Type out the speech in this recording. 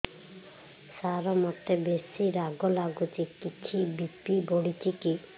ସାର ମୋତେ ବେସି ରାଗ ଲାଗୁଚି କିଛି ବି.ପି ବଢ଼ିଚି କି